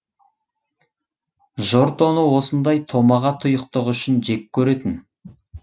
жұрт оны осындай томаға тұйықтығы үшін жек көретін